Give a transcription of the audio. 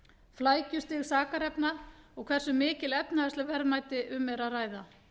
flækjustig sakarefna og hversu mikil efnahagsleg verðmæti um er að ræða